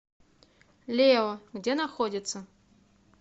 лео где находится